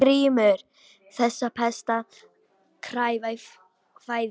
GRÍMUR: Þessa pest á að kæfa í fæðingu.